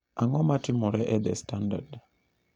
Ang'o matimore e The Standard?